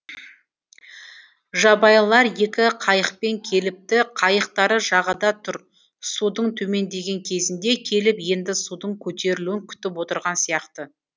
жабайылар екі қайықпен келіпті қайықтары жағада тұр судың төмендеген кезінде келіп енді судың көтерілуін күтіп отырған сияқты